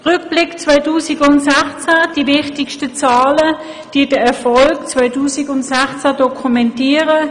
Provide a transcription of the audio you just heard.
Im Rückblick nenne ich die wichtigsten Zahlen, die den Erfolg 2016 dokumentieren.